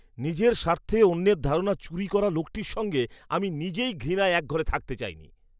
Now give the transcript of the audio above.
নিজের স্বার্থে অন্যের ধারণা চুরি করা লোকটির সঙ্গে আমি নিজেই ঘৃণায় এক ঘরে থাকতে চাইনি।